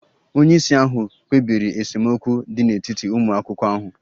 Onye isi ahụ kpebiri esemokwu dị n'etiti ụmụ akwụkwọ ahụ